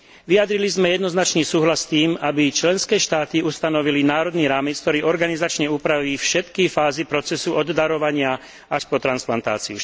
Vyjadrili sme jednoznačný súhlas s tým, aby členské štáty ustanovili národný rámec, ktorý organizačne upraví všetky fázy procesu, od darovania až po transplantáciu.